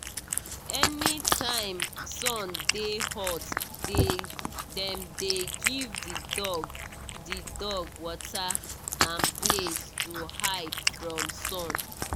anytime sun dey hot dem dey give the dog the dog water and place to hide from sun.